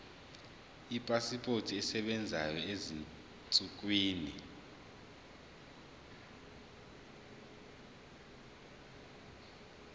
ipasipoti esebenzayo ezinsukwini